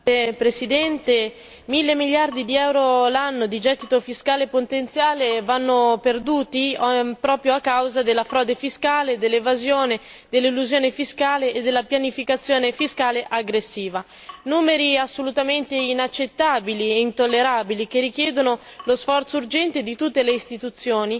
Signora Presidente, onorevoli colleghi, mille miliardi di euro l'anno di gettito fiscale potenziale vanno perduti proprio a causa della frode fiscale, dell'evasione, dell'elusione fiscale e della pianificazione fiscale aggressiva. Sono numeri assolutamente inaccettabili e intollerabili, che richiedono lo sforzo urgente di tutte le istituzioni